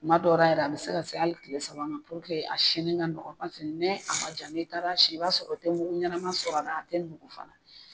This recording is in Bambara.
Kuma dɔ ra yɛrɛ a bɛ se ka se hali kile saba ma puruke a sinni ka nɔgɔya paseke ni a man ja n'i taara si i b'a sɔrɔ i tɛ mugu ɲɛnama sɔrɔ a ra a tɛ nugu fana.